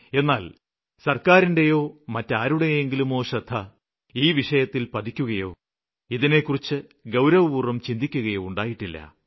എന്നാല് സര്ക്കാരിന്റെയോ മറ്റാരുടെയെങ്കിലുമോ ശ്രദ്ധ ഈ വിഷയത്തില് പതിക്കുകയോ ഇതിനെക്കുറിച്ച് ഗൌരവപൂര്വ്വം ചിന്തിക്കുകയോ ചെയ്തിട്ടില്ല